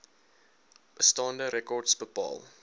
bestaande rekords bepaal